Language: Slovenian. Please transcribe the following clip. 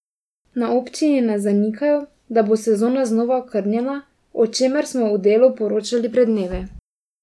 Na občini ne zanikajo, da bo sezona znova okrnjena, o čemer smo v Delu poročali pred dnevi.